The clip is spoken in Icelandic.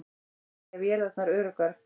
Segja vélarnar öruggar